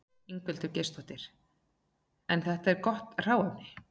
Ingveldur Geirsdóttir: En þetta er gott hráefni?